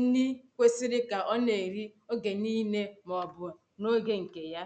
nni kwesiri ka ọ na-eri oge niile maọbụ na oge nke yà